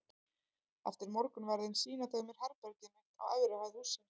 Eftir morgunverðinn sýna þau mér herbergið mitt á efri hæð hússins.